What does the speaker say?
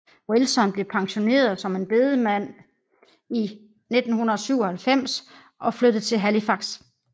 Wilson blev pensioneret som en bedemand i 1997 og flyttede til Halifax